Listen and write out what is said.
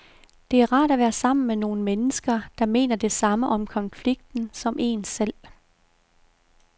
Det er rart at være sammen med nogen mennesker, der mener det samme om konflikten som en selv.